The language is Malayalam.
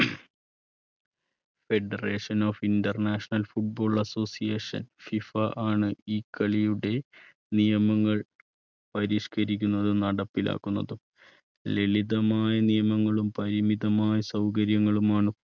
Federation of international football association FIFA ആണ് ഈ കളിയുടെ നിയമങ്ങൾ പരിഷ്കരിക്കുന്നതും നടപ്പിലാക്കുന്നതും. ലളിതമായ നിയമങ്ങളും പരിമിതമായ സൗകര്യങ്ങളും ആണ്